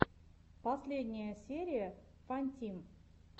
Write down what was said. последняя серия фантим